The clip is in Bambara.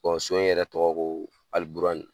so in yɛrɛ tɔgɔ ko Alibuani .